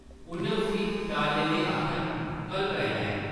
उʼन्नै उस्सी टालने लेई आखेआ, कल कराई लैङ ।